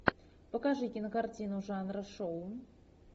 покажи кинокартину жанра шоу